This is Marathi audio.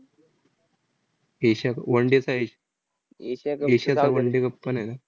एशिया क one day चा आहे. एशियाचा one day cup पण आहे ना?